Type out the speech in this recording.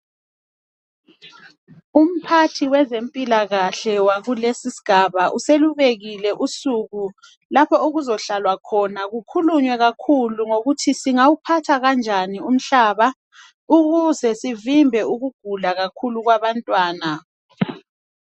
Umphathi wezempilakahle wakulesi isigaba uselubekile usuku lapho okuzohlalwa khona kukhulunywe kakhulu ngokuthi singawuphatha kanjani umhlaba ukuze sivimbe ukugula kakhulu kwabantwana.